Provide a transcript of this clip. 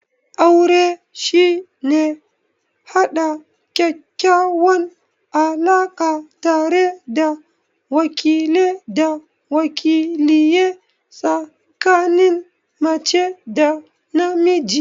Aure shine haɗa ƙaƙƙawan alaka tare da wakile da waliye tsikanin mace da namiji?